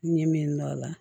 N ye min dɔn a la